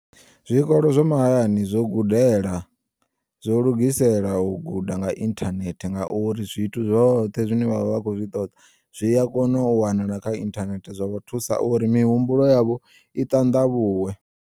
Zwikolo zwa mahayani zwo gudela, zwo lugisela u guda nga inthanethe ngauri zwithu zwoṱhe zwine vhavha vha khou zwi ṱoḓa zwiya kona u wanala kha inthanethe zwavha thusa uri mihumbulo yavho i ṱanḓavhuwe.